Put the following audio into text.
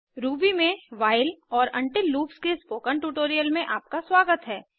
Ruby में while और until loops के स्पोकन ट्यूटोरियल में आपका स्वागत है